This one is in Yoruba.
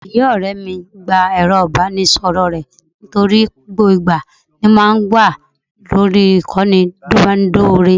Ìyá ọ̀rẹ́ mi gba ẹ̀rọ ìbánisọ̀rọ̀ rẹ̀ nítorí gbogbo ìgbà ló máa ń wà lórí ìkànnì ìbánidọ́rẹ̀ẹ́